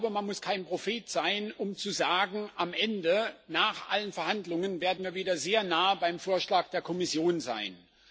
Man muss kein Prophet sein, um zu sagen Am Ende, nach allen Verhandlungen, werden wir wieder sehr nahe beim Vorschlag der Kommission sein.